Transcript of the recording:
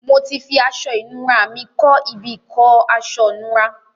Mo ti fi aṣọ ìnura mi kọ́ ibi ìkọ́ aṣọ̀nura.